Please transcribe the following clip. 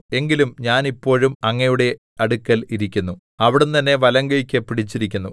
എങ്കിലും ഞാൻ ഇപ്പോഴും അങ്ങയുടെ അടുക്കൽ ഇരിക്കുന്നു അവിടുന്ന് എന്നെ വലങ്കൈയ്ക്ക് പിടിച്ചിരിക്കുന്നു